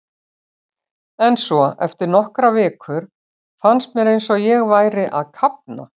En svo, eftir nokkrar vikur, fannst mér eins og ég væri að kafna.